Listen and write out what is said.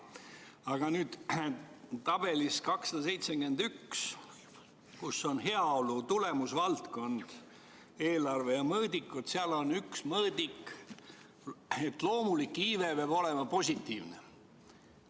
Aga tabelis 271, kus on heaolu tulemusvaldkonna eelarve ja mõõdikud, on üks mõõdik selline, et loomulik iive peab olema positiivne.